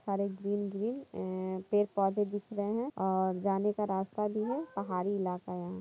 सारे green green ऐ पेड़ पोधे दिख रहे है और जाने का रास्ता भि है पहाड़ी इलाका है।